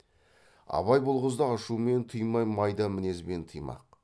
абай бұл қызды ашумен тыймай майда мінезбен тыймақ